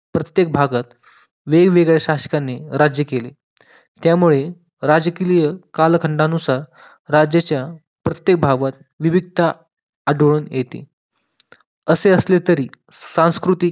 प्रत्येक भागात वेगवेगळ्या शासकाने राज्य केले त्यामुळे राजकीय कालखंडानुसार राज्याच्या प्रत्येक भागात विविधता आढळून येते असे असले तरी सांस्कृतिक